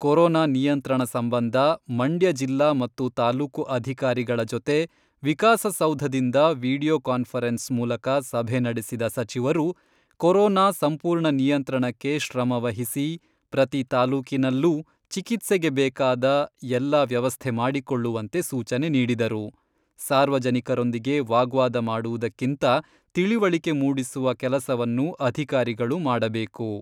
Corona ನಿಯಂತ್ರಣ ಸಂಬಂಧ ಮಂಡ್ಯ ಜಿಲ್ಲಾ ಮತ್ತು ತಾಲೂಕು ಅಧಿಕಾರಿಗಳ ಜೊತೆ ವಿಕಾಸಸೌಧದಿಂದ ವಿಡಿಯೊಕಾನ್ಫರೆನ್ಸ್ ಮೂಲಕ ಸಭೆ ನಡೆಸಿದ ಸಚಿವರು, ಕೊರೊನಾ ಸಂಪೂರ್ಣ ನಿಯಂತ್ರಣಕ್ಕೆ ಶ್ರಮವಹಿಸಿ, ಪ್ರತಿ ತಾಲೂಕಿನಲ್ಲೂ ಚಿಕಿತ್ಸೆಗೆ ಬೇಕಾದ ಎಲ್ಲ ವ್ಯವಸ್ಥೆ ಮಾಡಿಕೊಳ್ಳುವಂತೆ ಸೂಚನೆ ನೀಡಿದರು.ಸಾರ್ವಜನಿಕರೊಂದಿಗೆ ವಾಗ್ವಾದ ಮಾಡುವುದಕ್ಕಿಂತ ತಿಳಿವಳಿಕೆ ಮೂಡಿಸುವ ಕೆಲಸವನ್ನು ಅಧಿಕಾರಿಗಳು ಮಾಡಬೇಕು.